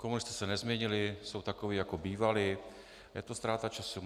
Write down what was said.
Komunisté se nezměnili, jsou takoví, jako bývali, je to ztráta času.